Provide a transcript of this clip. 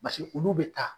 olu bɛ taa